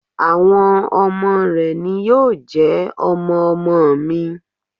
Àwọn ọmọ rẹ̀ ni yóò jẹ́ ọmọ-ọmọ mi.